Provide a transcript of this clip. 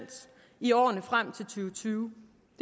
i årene frem og tyve